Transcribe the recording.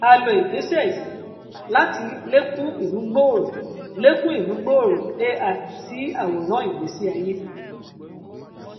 a lò igbésẹ yìí láti lékún ìmúgbòòrò lékún ìmúgbòòrò ai sí àwòrán ìgbésí ayé